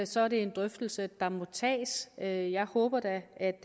så er det en drøftelse der må tages jeg jeg håber da at